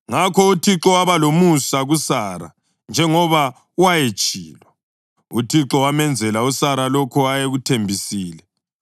Ngakho uThixo waba lomusa kuSara njengoba wayetshilo, uThixo wamenzela uSara lokho ayekuthembisile.